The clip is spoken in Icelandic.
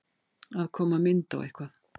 Að koma mynd á eitthvað